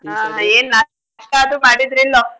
ಏನ್ ನಾಸ್ಟಾ ಆದ್ರೂ ಮಾಡಿದ್ರೋ ಇಲ್ಲೋ.